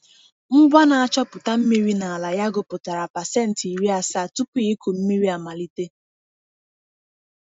Ngwa na-achọpụta mmiri n’ala ya gụpụtara pasent iri asaa tupu ịkụ mmiri amalite.